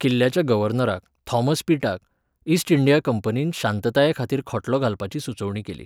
किल्ल्याच्या गव्हर्नराक, थॉमस पिटाक, ईस्ट इंडिया कंपनीन शांततायेखातीर खटलो घालपाची सुचोवणी केली.